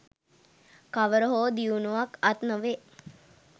කවර හෝ දියුණුවක් අත් නොවේ